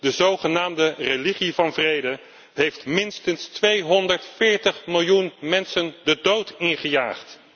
De zogenaamde religie van vrede heeft minstens 240 miljoen mensen de dood ingejaagd!